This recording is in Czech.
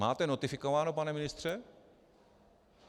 Máte notifikováno, pane ministře?